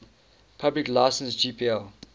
public license gpl